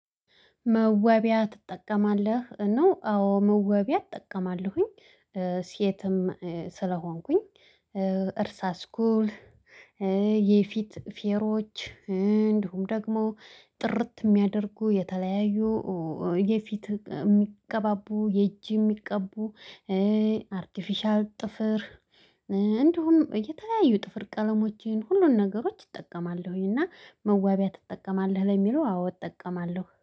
መዋቢያ ትጠቀማለህ ነው? አዎ መወቢያ እጠቀማለሁኝ። ሴትም ስለሆንኩኝ። እርሳስ ኩል። የፊት ፌሮች። እንዲሁም ደግሞ ጥርት የሚያደርጉ የተለያዩ። የፊት የሚቀባቡ የእጅ የሚቀቡ። አርቲፊሻል ጥፍር። እንዲሁም የተለያዩ ጥፍር ቀለሞችን ሁሉን ነገሮች እጠቀማለሁኝ። እና መዋቢያ ትጠቀማለህ ለሚለው አዎ እጠቀማለሁ